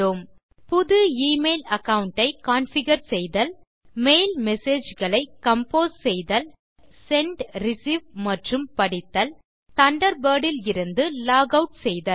மேலும் கற்றது புது எமெயில் அகாவுண்ட் ஐ கான்ஃபிகர் செய்தல் மெயில் மெசேஜ் களை கம்போஸ் செய்தல் மெசேஜ் கள செண்ட் ரிசீவ் மற்றும் படித்தல் தண்டர்பர்ட் இலிருந்து லாக் ஆட் செய்தல்